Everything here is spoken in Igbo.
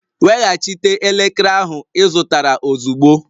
Weghachite elekere ahụ ị zụtara ozugbo!